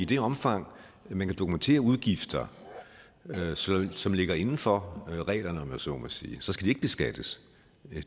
det omfang man kan dokumentere udgifter som ligger inden for reglerne om man så må sige skal det ikke beskattes